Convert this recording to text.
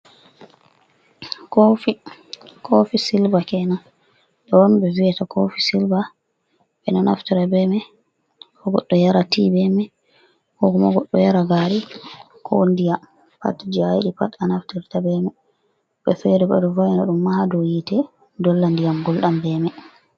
Kofi kofi silva kenan ɗo on ɓe viata kofi silva ɓe ɗo naftira be mai ko goɗɗo yara ti, bema ko ku ma goɗɗo yara gari, ko diyam, pat je a yiɗi pat a naftirta bema woɓɓe fere bo ɗo vaina ɗum ma hado hite dolla ndiyam gulɗam be mai.